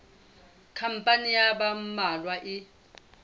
khampani ya ba mmalwa e